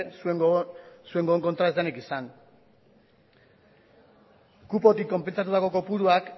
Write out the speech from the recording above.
zuen gogoz kontra ez denik izan kupotik konpentsatutako kopuruak